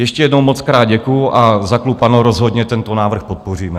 Ještě jednou mockrát děkuji a za klub ANO rozhodně tento návrh podpoříme.